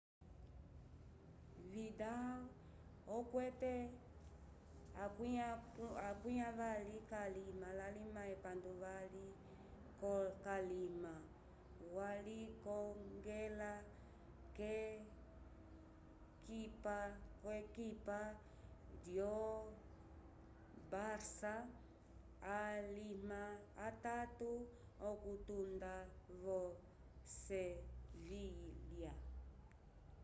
vidal okwete 28 kalima walikongela k'ekipa lyo barça alima atatu okutunda vo sevilha